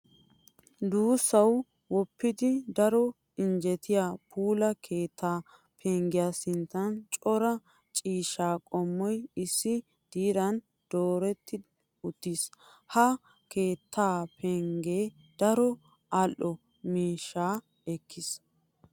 Duussawu woppidi daro injjetiya puula keettaa penggiya sinttan cora ciishshaa qommoy issi diran dooretti uttiis. Ha keettaa penggee daro al"o miishshaa ekkiis.